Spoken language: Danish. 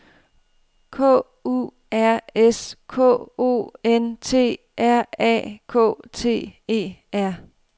K U R S K O N T R A K T E R